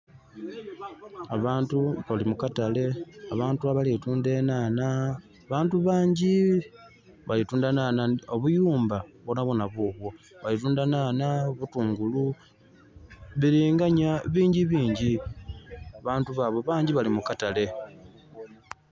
Abantu bali mukatale, abantu abali kutundha enhanha. Abantu bangi, balitundha nhanha, obuyumbq bwonhabwoonha bubwo. Balitundha nhanha butungulu bilinganya bingibingi abantu baabo bangi bali mu katale.